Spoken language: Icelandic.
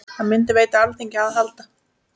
Það myndi veita Alþingi aðhald.